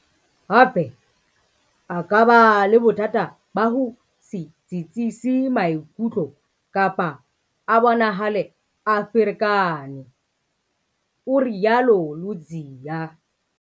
"Hape, a ka ba le bothata ba ho se tsitsise maikutlo kapa a bonahale a ferekane," o rialo Ludziya.